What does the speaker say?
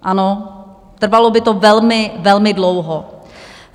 Ano, trvalo by to velmi, velmi dlouho.